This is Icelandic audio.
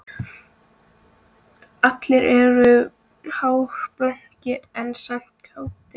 Allir eru hálfblankir en samt kátir